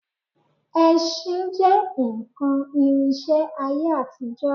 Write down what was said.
Ẹṣin jẹ́ nǹkan ìrìnsẹ̀ ayé àtijọ́